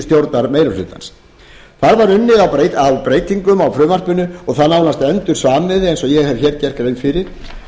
stjórnarmeirihlutans þar var unnið að breytingum á frumvarpinu og það nánast endursamið eins og ég hef gert grein fyrir